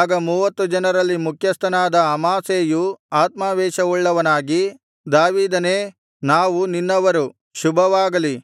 ಆಗ ಮೂವತ್ತು ಜನರಲ್ಲಿ ಮುಖ್ಯಸ್ಥನಾದ ಅಮಾಸೈಯು ಆತ್ಮಾವೇಶವುಳ್ಳವನಾಗಿ ದಾವೀದನೇ ನಾವು ನಿನ್ನವರು ಶುಭವಾಗಲಿ